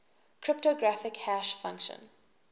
cryptographic hash function